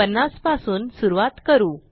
50 पासून सुरूवात करू